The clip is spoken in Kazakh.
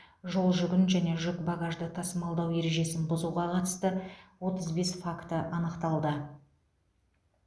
жолжүгін және жүк багажды тасымалдау ережесін бұзуға қатысты отыз бес факті анықталды